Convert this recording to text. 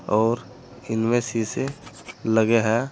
और इनमें शीशे लगे हैं।